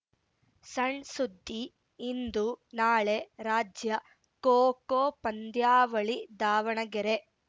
ಸಣ್‌ ಸುದ್ದಿ ಇಂದು ನಾಳೆ ರಾಜ್ಯ ಖೋ ಖೋ ಪಂದ್ಯಾವಳಿ ದಾವಣಗೆರೆ